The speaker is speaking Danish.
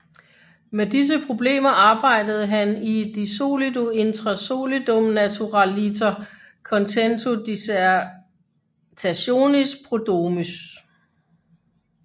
Med disse problemer arbejdede han i De solido intra solidum naturaliter contento dissertationis prodromus